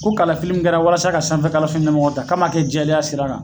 Ko kalifafi mun kɛra walasa ka sanfɛ kalanso ɲɛmɔgɔya ta k'a ma kɛ jɛlenya sira kan.